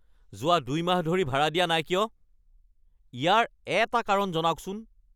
যোৱা ২ মাহ ধৰি ভাড়া দিয়া নাই কিয়? ইয়াৰ এটা কাৰণ জনাওকচোন।